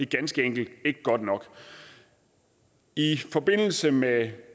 ganske enkelt ikke godt nok i forbindelse med